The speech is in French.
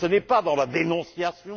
On n'est pas dans la dénonciation